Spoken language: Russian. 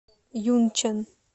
юнчэн